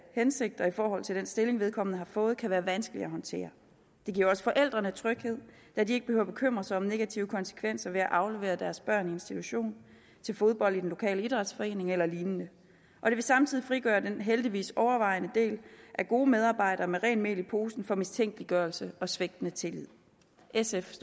hensigter i forhold til den stilling vedkommende har fået kan være vanskeligt at håndtere det giver også forældrene tryghed da de ikke behøver at bekymre sig om negative konsekvenser ved at aflevere deres børn i en institution til fodbold i den lokale idrætsforening eller lignende og det vil samtidig frigøre den heldigvis overvejende del af gode medarbejdere med rent mel i posen for mistænkeliggørelse og svigtende tillid sf